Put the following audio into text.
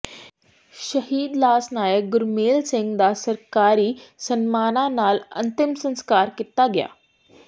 ਸ਼ਹੀਦ ਲਾਸ ਨਾਇਕ ਗੁਰਮੇਲ ਸਿੰਘ ਦਾ ਸਰਕਾਰੀ ਸਨਮਾਨਾਂ ਨਾਲ ਅੰਤਿਮ ਸੰਸਕਾਰ ਕੀਤਾ ਗਿਆ